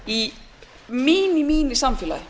í eigi inni samfélagi